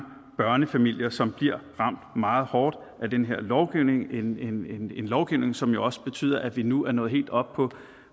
børnefamilier som bliver ramt meget hårdt af den her lovgivning en lovgivning som jo også betyder at vi nu er nået helt op på